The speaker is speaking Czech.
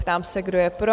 Ptám se, kdo je pro?